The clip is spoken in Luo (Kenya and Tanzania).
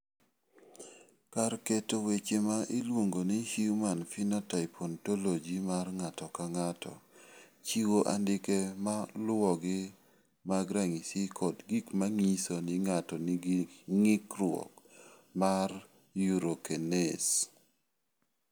Kar keto weche ma iluongo ni Human Phenotype Ontology mar ng�ato ka ng�ato chiwo andike ma luwogi mag ranyisi kod gik ma nyiso ni ng�ato nigi ng'ikruok mar Urocanase.